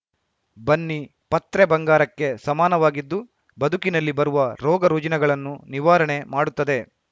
ಬನ್ನಿ ಪತ್ರೆ ಬಂಗಾರಕ್ಕೆ ಸಮಾನವಾಗಿದ್ದು ಬದುಕಿನಲ್ಲಿ ಬರುವ ರೋಗ ರುಜಿನಗಳನ್ನು ನಿವಾರಣೆ ಮಾಡುತ್ತದೆ